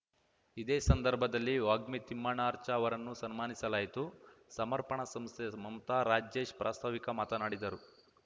ಇದೇ ಸಂದರ್ಭದಲ್ಲಿ ವಾಗ್ಮಿ ತಿಮ್ಮಣ್ಣಾರ್ಚಾ ಅವರನ್ನು ಸನ್ಮಾನಿಸಲಾಯಿತು ಸಮರ್ಪಣ ಸಂಸ್ಥೆಯ ಮಮತಾ ರಾಜೇಶ್‌ ಪ್ರಾಸ್ತವಿಕ ಮಾತನಾಡಿದರು